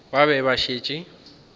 ba be ba šetše ba